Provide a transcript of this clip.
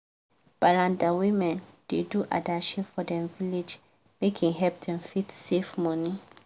balanda women da do adashi for dem village make e help them fit save money